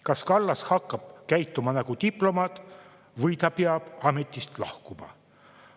Kas Kallas hakkab käituma nagu diplomaat või ta peab ametist lahkuma?